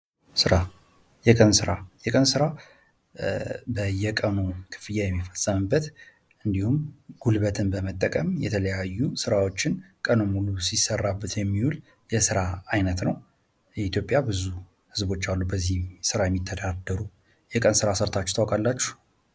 ሥራ የቀን ሥራ በየቀኑ ክፍያ የሚፈጽምበት እንዲሁም ፤ ጉልበትን መጠቀም የተለያዩ ሥራዎችን ቀኑን ሙሉ ሲሠራበት የሚውል የሥራ ዓይነት ነው። ኢትዮጵያ ብዙ ሕዝቦች አሉ በዚህ ሥራ የሚተዳደሩ። የቀን ስራ ሰርታችሁ ታውቃላችሁ?